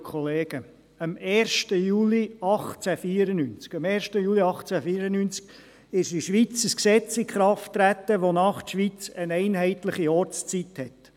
Am 1. Juli 1894 trat in der Schweiz ein Gesetz in Kraft, nach dem die Schweiz eine einheitliche Ortszeit hat.